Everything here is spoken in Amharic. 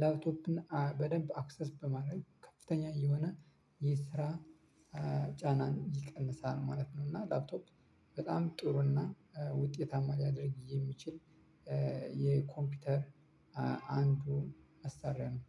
ላፕቶፕን በደንብ አክሰስ በማድረግ ከፍተኛ የሆነ ይህ ስራ ጫና ይቀንሳል ማለት ነው። እና ላፕቶፕ በጣም ጥሩ እና ውጤታማ ሊያደርግ የሚችል የኮምፒውተር አንዱ መሳሪያ ነው።